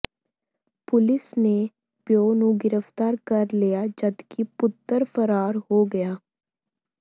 police ਨੇ ਪਿਉ ਨੂੰ ਗ੍ਰਿਫ਼ਤਾਰ ਕਰ ਲਿਆ ਜਦਕਿ ਪੁੱਤਰ ਫਰਾਰ ਹੋ ਗਿਆ